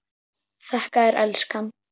Þakka þér elskan.